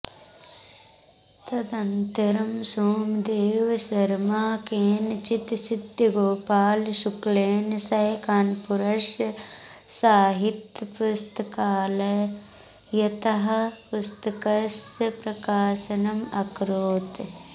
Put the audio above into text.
तदन्तरं सोमदेवशर्मा केनचित् सिद्धगोपालशुक्लेन सह कानपुरस्य साहित्यपुस्तकालयतः पुस्तकस्य प्रकाशनम् अकरोत्